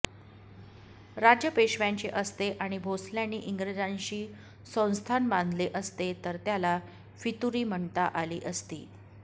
राज्य पेशव्यांचे असते आणि भोसल्यांनी इंग्रजांशी संधान बांधले असते तर त्याला फितुरी म्हणता आली असती